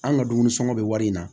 An ka dumuni sɔngɔ bɛ wari in na